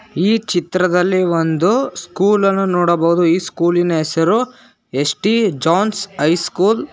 ಈ ಚಿತ್ರದಲ್ಲಿ ಒಂದು ಸ್ಕೂಲನ್ನು ನೋಡಬಹುದು ಈ ಸ್ಕೂಲಿನ ಹೆಸರು S T John's high school .